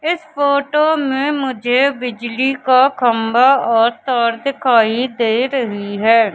इस फोटो में मुझे बिजली का खंभा और तार दिखाई दे रही है।